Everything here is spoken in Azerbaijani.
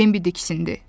Bambi diksindi.